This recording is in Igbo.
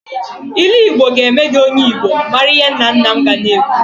Ilu Igbo ga eme gi onye igbo maara ihe nna nna m ga na-ekwu.